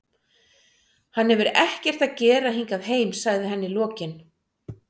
Hann hefur ekkert að gera hingað heim, sagði hann í lokin.